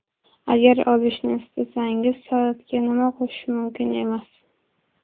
Agar ozishni istasangiz, salatga nima qo‘shish mumkin emas?.